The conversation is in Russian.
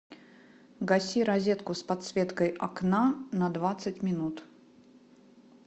гаси розетку с подсветкой окна на двадцать минут